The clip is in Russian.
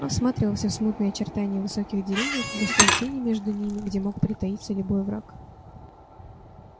он всматривался в смутные очертания высоких деревьев в густые тени между ними где мог притаиться любой враг